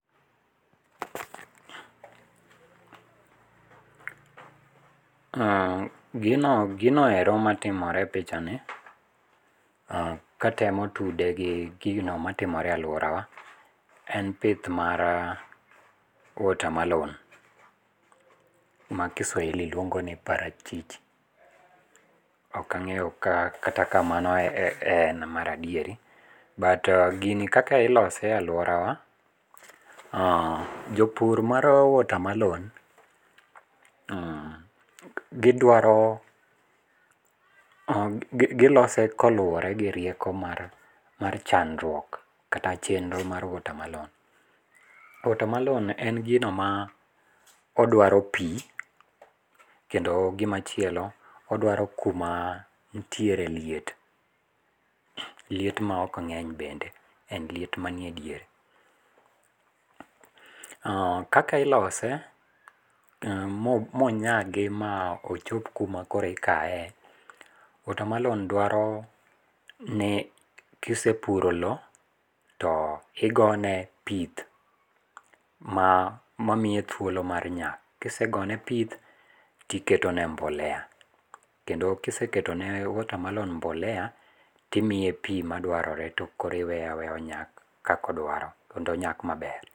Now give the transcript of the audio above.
Aaah, gino, ginoero matimore e pichani, katemo tude gi gino matimore e aluora wa en pith mar watermelon ma kiswahili luongo ni parachichi, ok angeyo kata ka mano e en mar adieri but gini kaka ilose e aluora wa ,aah, jopur mar watermelon n,gidwaro, gilose kalore gi rieko mar chandruok kata chenro mar watermelon. To watermelon en gino ma odwaro pii kendo gimachielo odwaro kuma nitiere liet. Liet maok ng'eny bende, en liet manie diere. Kaka ilose monyagi ma ochop kuma koro ikaye, watermelon dwaro nekisepuro loo to igone pith mamiyo thuolo mar nyak, kisegone pith tiketone mbolea kendo kiseketo ne watermelon mbolea timiye pi madwarore tokoro iweye aweya onyak kaka idwaro kendo onyak maber.